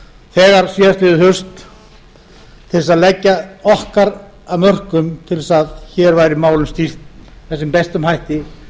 þegar síðastliðið haust til þess að leggja okkar af mörkum til þess að hér væri málum stýrt með sem bestum hætti